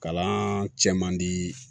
Kalan cɛ man di